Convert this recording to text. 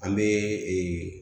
An bɛ ee